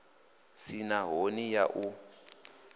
si na ṱhoni ya u